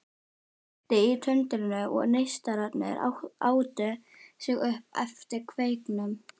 Kveikti í tundrinu og neistarnir átu sig upp eftir kveiknum.